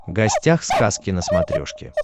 гостях сказки на смотрешке